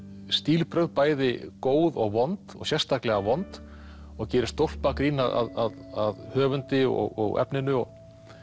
stílbrögð bæði góð og vond og sérstaklega vond og gerir stólpagrín að höfundi og efninu og